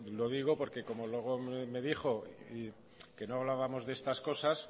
lo digo porque como luego me dijo que no hablábamos de estas cosas